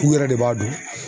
u yɛrɛ de b'a dɔn.